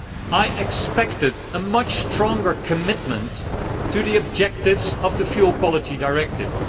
I expected a much stronger commitment to the objectives of the Fuel Quality Directive.